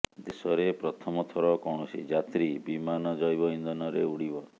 ଦେଶରେ ପ୍ରଥମ ଥର କୈାଣସି ଯାତ୍ରୀ ବିମାନ ଜୈବ ଇନ୍ଧନରେ ଉଡିବ